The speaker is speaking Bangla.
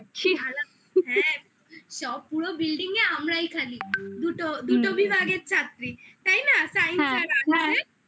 হ্যাঁ সব পুরো building এ আমরাই খালি noise দুটো বিভাগের ছাত্রী তাই না? science আর arts এর